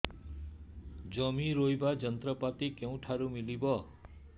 ଜମି ରୋଇବା ଯନ୍ତ୍ରପାତି କେଉଁଠାରୁ ମିଳିବ